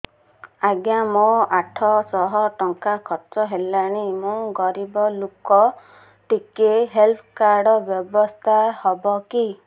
ଆଜ୍ଞା ମୋ ଆଠ ସହ ଟଙ୍କା ଖର୍ଚ୍ଚ ହେଲାଣି ମୁଁ ଗରିବ ଲୁକ ଟିକେ ହେଲ୍ଥ କାର୍ଡ ବ୍ୟବସ୍ଥା ହବ କି